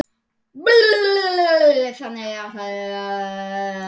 Þannig ætluðum við að verða.